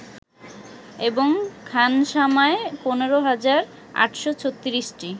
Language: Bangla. এবং খানসামায় ১৫ হাজার ৮৩৬টি